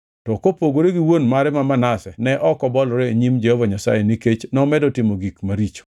To kopogore gi wuon mare ma Manase ne ok obolore e nyim Jehova Nyasaye nikech nomedo timo gik maricho.